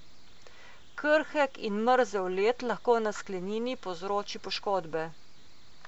Krhek in mrzel led lahko na sklenini povzroči poškodbe.